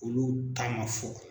Olu ta man fɔ.